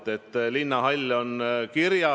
Tõsi, eelmise valitsuse ametiaja lõpus tuli üks mõte juurde.